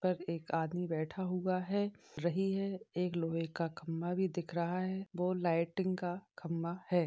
पर एक आदमी बैठा हुआ है रही है एक लोहे का खम्भा भी दिख रहा है वो लाइटिंग का खम्भा है।